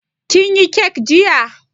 Kin yi kek jiya?